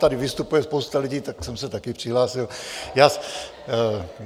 Tady vystupuje spousta lidí, tak jsem se taky přihlásil.